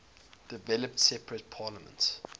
developed separate parliaments